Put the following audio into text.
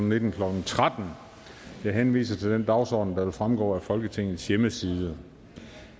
nitten klokken tretten jeg henviser til den dagsorden der vil fremgå af folketingets hjemmeside